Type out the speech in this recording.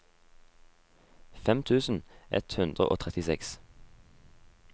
fem tusen ett hundre og trettiseks